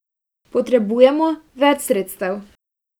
Potrebujemo več sredstev!